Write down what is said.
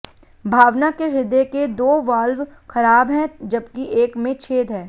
भावना के हृदय के दो वाल्व खराब हैं जबकि एक में छेद है